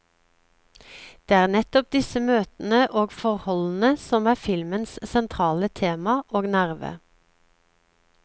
Det er nettopp disse møtene og forholdene som er filmens sentrale tema og nerve.